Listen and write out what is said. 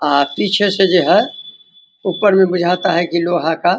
अ पीछे से जो है ऊपर में बुझाता है कि लोहा का --